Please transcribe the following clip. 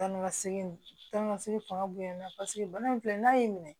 Taa ni ka segin taa ni ka segin fanga bonyana paseke bana in filɛ n'a y'i minɛ